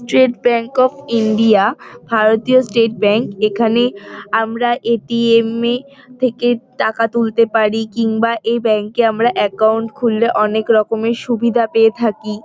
Trait bank of India ভারতীয় state bank এখানে আমরা এ. টি. এম. - এ থেকে টাকা তুলতে পারি কিংবা এই ব্যাঙ্ক -এ আমরা অ্যাকাউন্ট খুললে অনেক রকমের সুবিধা পেয়ে থাকি।